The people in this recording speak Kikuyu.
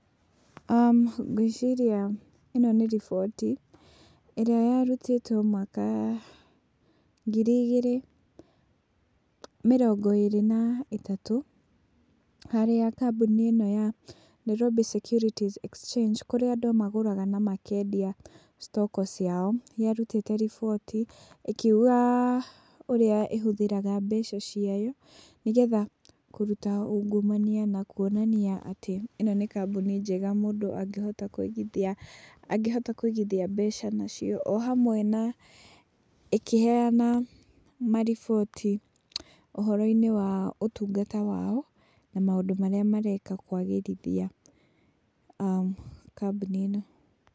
aah Ngwĩciria ĩno nĩ riboti ĩrĩa yarutĩtwo mwaka wa ngiri ĩgĩrĩ mĩrongo ĩrĩ na ithatũ harĩa kambuni ĩno ya 'Narobi Securities Exchange', kũrĩa andu magũraga na makendia citoko ciao yarutĩĩte riboti ĩkĩuga ũrĩa ĩhũthĩraga mbeca ciayo nĩ getha kũruta ungumania na kuonania atĩ ĩno nĩkambuni njega mũndũ angĩhota kũigithia mbeca, kũigithia mbeca nacio. O hamwe na ĩkĩheana mariboti ũhoro-inĩ wa ũtungata wao na maũndũ marĩa mareka kwagĩrithia aah kambuni ĩno.